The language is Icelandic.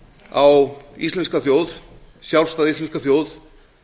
á íslenska þjóð sjálfstæða íslenska þjóð